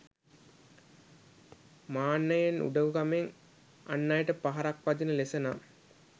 මාන්නයෙන්, උඩඟුකමෙන්, අන් අයට පහරක් වදින ලෙස නම්